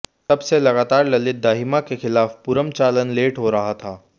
तब से लगातार ललित दाहिमा के खिलाफ पूरम चालान लेट हो रहा था